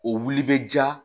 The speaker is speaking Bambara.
O wuli bɛ jaa